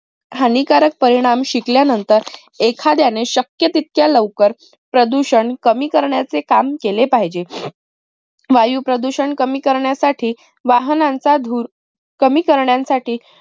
हानिकारक परिणाम शिक्या नंतर एखाद्याने शक्य तितक्या लवकर प्रदूषण कमी करण्याचे काम केले पाहिजे. वायू प्रदूषण कमी करण्यासाठी वाहनांचा धूर